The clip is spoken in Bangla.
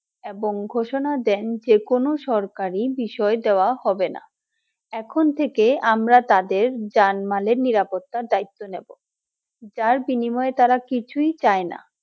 এবং ঘোষণা দেন যেকোনো সরকারি বিষয়ে দেওয়া হবে না। এখন থেকে আমরা তাদের জানমালের নিরাপত্তার দায়িত্ব নেয় যার বিনিময়ে তারা কিছুই চাইনা